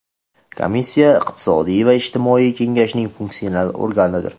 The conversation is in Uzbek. Komissiya iqtisodiy va ijtimoiy Kengashning funksional organidir.